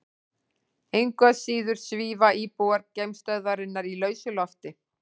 Engu að síður svífa íbúar geimstöðvarinnar í lausu lofti.